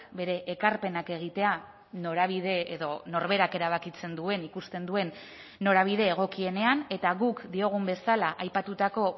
bere ekarpenak egitea norabide edo norberak erabakitzen duen ikusten duen norabide egokienean eta guk diogun bezala aipatutako